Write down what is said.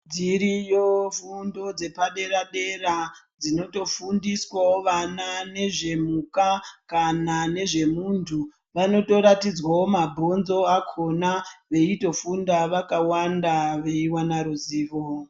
Dziriyo fundo dzepadera dera dzinotofundiswawo vana nezvemhuka kana nezvemuntu vanotoratidzwawo mabhonzo akona veitofundawo vakawanda weiwana ruzivo.